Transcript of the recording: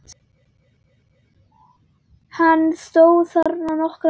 Hann stóð þarna nokkra stund.